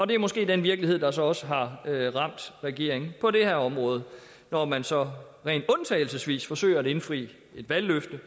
det er måske den virkelighed der så også har ramt regeringen på det her område når man så rent undtagelsesvis forsøger at indfri et valgløfte